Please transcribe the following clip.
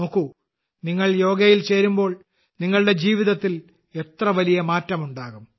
നോക്കൂ നിങ്ങൾ യോഗയിൽ ചേരുമ്പോൾ നിങ്ങളുടെ ജീവിതത്തിൽ എത്ര വലിയ മാറ്റമുണ്ടാകും